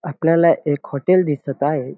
आपल्याला एक हॉटेल दिसत आहे.